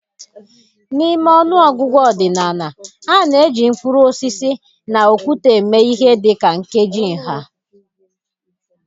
N'ime ọnụ ọgụgụ ọdịnala, a na-eji mkpụrụ osisi, na okwute eme ihe dị ka nkeji nha.